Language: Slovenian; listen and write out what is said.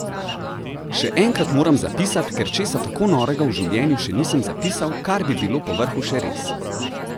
Še enkrat moram zapisat, ker česa tako norega v življenju še nisem zapisal kar bi bilo po vrhu še res!